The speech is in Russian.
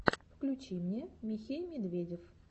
включи мне михей медведев